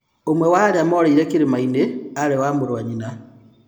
Umwe wa arĩa morĩire irĩmainĩ arĩ-mũrũwanyina.